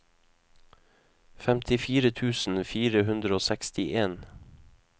femtifire tusen fire hundre og sekstien